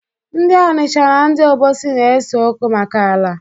Ndị Ọnịcha na ndị Obosi na-ese okwu maka ala.